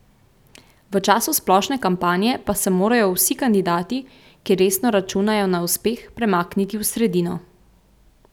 V času splošne kampanje pa se morajo vsi kandidati, ki resno računajo na uspeh, premakniti v sredino.